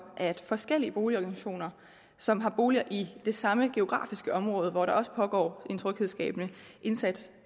at forskellige boligorganisationer som har boliger i det samme geografiske område hvor der også pågår en tryghedsskabende indsats